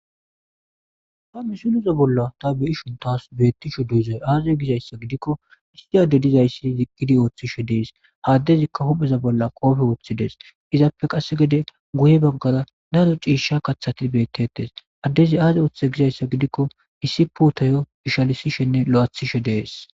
Ha misileza bolla ta be'ishn tas betishe dizay aze gizaysa gidikon issi adey dizays eqid oothishe Des. Ha adezika hupheza bolla qope wothid es. Izappe qase gede guye bagara Daro ciisha kathat betes . Adez azi oothize gizaysa gidikon ishalisishenne lo'ethishe de'es.